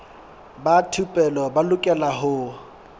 ba thupelo ba lokela ho